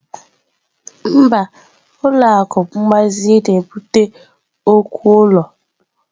Mba, ụlọ akụ mgbazinye na-ebute okwu ụlọ.